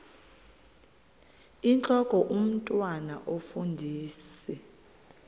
intlok omntwan omfundisi